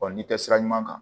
n'i tɛ sira ɲuman kan